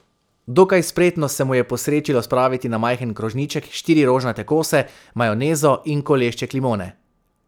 Dokaj spretno se mu je posrečilo spraviti na majhen krožniček štiri rožnate kose, majonezo in kolešček limone.